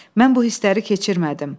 Mən bu hissləri keçirmədim.